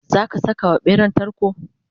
zaka Saka wa ɓeran tarko?